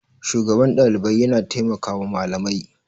shugaban Ɗalibai yana taimakawa Malamai